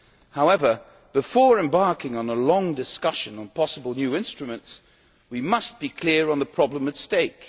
However, before embarking on a long discussion on possible new instruments, we must be clear on the problem at stake.